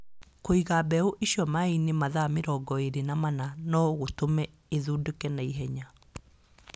Kũiga mbeũ icio maaĩ-inĩ mathaa mĩrongo ĩrĩ na mana no gũtũme ithundũke na ihenya.